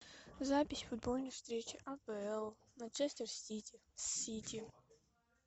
запись футбольной встречи апл манчестер сити с сити